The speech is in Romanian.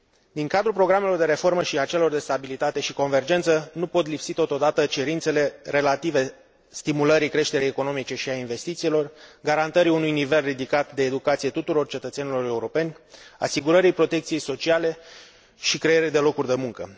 Din cadrul programelor de reformă și acelor de stabilitate și convergență nu pot lipsi totodată cerințele relative stimulării creșterii economice și a investițiilor, garantării unui nivel ridicat de educație tuturor cetățenilor europeni, asigurării protecției sociale și creării de locuri de muncă.